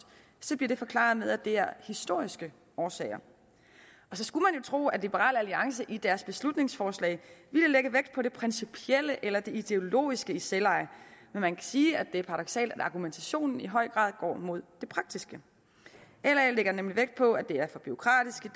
bliver det forklaret med at det er af historiske årsager og så skulle man jo tro at liberal alliance i deres beslutningsforslag ville lægge vægt på det principielle eller det ideologiske i selveje men man kan sige at det er paradoksalt at argumentationen i høj grad går mod det praktiske la lægger nemlig vægt på at det er for bureaukratisk